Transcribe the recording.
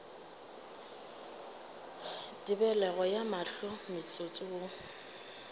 tebelego ya mahlo motsotso wo